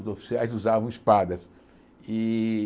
Os oficiais usavam espadas. E